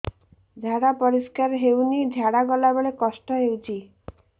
ଝାଡା ପରିସ୍କାର ହେଉନି ଝାଡ଼ା ଗଲା ବେଳେ କଷ୍ଟ ହେଉଚି